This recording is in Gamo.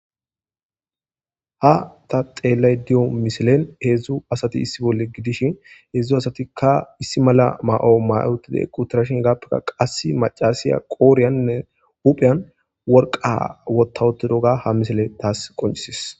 Ha ta xeellay diyo misilen heedzdzu asati issi bolle gidishin heedzdzu asatikka issi mala ma'o mayotida qutirashin gappekka qass macasiya qooriyaninne hupheyan worqa wotawotidoga ha misile taas qoncisis